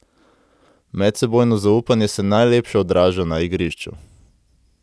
Medsebojno zaupanje se najlepše odraža na igrišču.